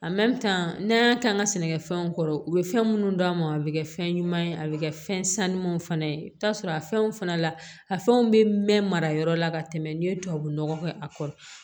n'an y'a k'an ka sɛnɛfɛnw kɔrɔ u be fɛn munnu d'a ma a be kɛ fɛn ɲuman ye a be kɛ fɛn sanumaw fana ye i bi t'a sɔrɔ a fɛnw fana la a fɛnw be mɛn mara yɔrɔ la ka tɛmɛ n'i ye tubabunɔgɔ kɛ a kɔrɔ